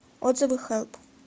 отзывы хэлп